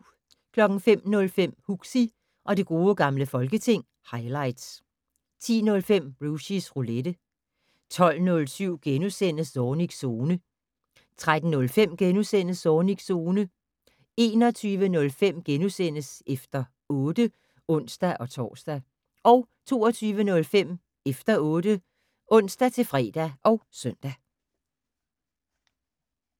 05:05: Huxi og det gode gamle folketing - highlights 10:05: Rushys Roulette 12:07: Zornigs Zone * 13:05: Zornigs Zone * 21:05: Efter 8 *(ons-tor) 22:05: Efter 8 (ons-fre og søn)